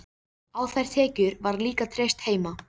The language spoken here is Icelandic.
Á þær tekjur var líka treyst heima.